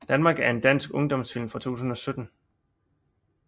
Danmark er en dansk ungdomsfilm fra 2017